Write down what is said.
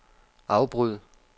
afbryd